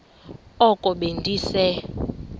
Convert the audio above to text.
oko be ndise